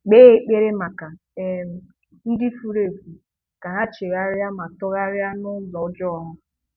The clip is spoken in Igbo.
Kpee ekpere maka um ndị furu efu ka ha chegharịa ma tụgharịa na ụzọ ọjọọ ha.